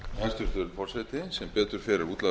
hæstvirtur forseti sem betur fer er útlagður